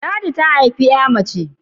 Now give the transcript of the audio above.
Ladi ta haifi 'ya mace